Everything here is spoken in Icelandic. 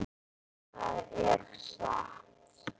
Það er satt.